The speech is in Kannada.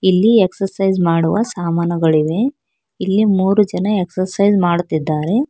ಇಲ್ಲಿ ಎಕ್ಸಸೈಜ್ ಮಾಡುವ ಸಾಮಾನುಗಳಿವೆ ಇಲ್ಲಿ ಮೂರು ಜನ ಎಕ್ಸರ್ಸೈಜ್ ಮಾಡುತ್ತಿದ್ದಾರೆ.